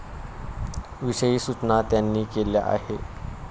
विषयी सूचना त्यांनी केल्या आहेत.